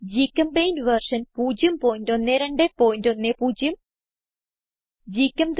ഗ്ചെമ്പെയിന്റ് version 01210